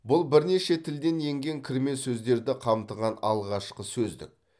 бұл бірнеше тілден енген кірме сөздерді қамтыған алғашқы сөздік